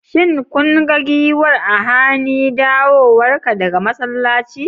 Shin kun ga giwar a hany dawowarka daga masallaci?